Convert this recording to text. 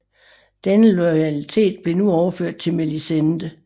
Denne loyalitet blev nu overført til Melisende